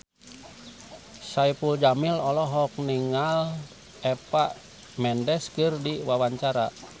Saipul Jamil olohok ningali Eva Mendes keur diwawancara